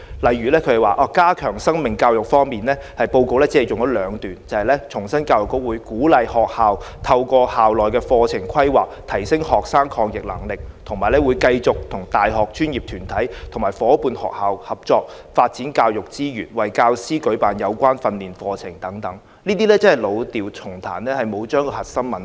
例如，在加強生命教育方面，報告只有短短兩段，只重申教育局會"鼓勵學校透過校內課程規劃，提升學生的抗逆能力"，以及"會繼續與大學、專業團體及伙伴學校合作，發展教學資源，並為教師舉辦有關的培訓活動"等，這只是老調重彈，沒有處理核心問題。